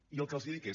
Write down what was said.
i el que els dic és